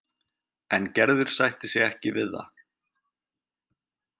En Gerður sættir sig ekki við það.